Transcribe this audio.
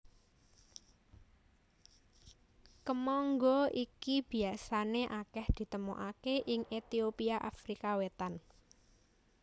Kemangga iki biasané akèh ditemokaké ing Etiopia Afrika Wétan